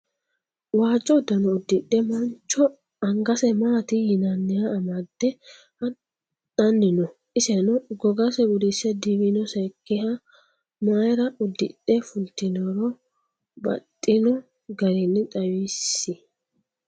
waajo uddano uddino mancho angase maati yinnaniha amade haxanni no? iseeno gogase gudise diwiinosekiha mayira uddixe fulitinora baxino garini xawisi?